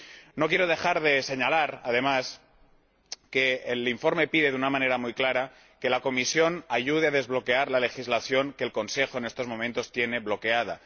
No quiero dejar de señalar, además, que el informe pide de una manera muy clara que la Comisión ayude a desbloquear la legislación que el Consejo, en estos momentos, tiene bloqueada.